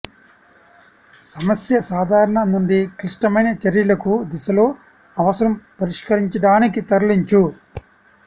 సమస్య సాధారణ నుండి క్లిష్టమైన చర్యలకు దిశలో అవసరం పరిష్కరించడానికి తరలించు